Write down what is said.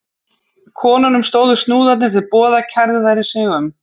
Konunum stóðu snúðarnir til boða kærðu þær sig um.